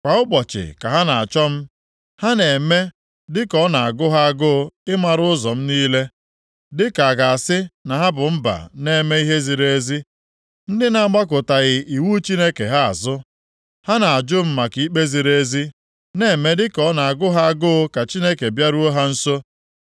Kwa ụbọchị ka ha na-achọ m ha na-eme dịka ọ na-agụ ha agụ ịmara ụzọ m niile, dịka a ga-asị na ha bụ mba na-eme ihe ziri ezi, ndị na-agbakụtaghị iwu Chineke ha azụ. Ha na-ajụ m maka ikpe ziri ezi, na-eme dịka ọ na-agụ ha agụụ ka Chineke bịaruo ha nso.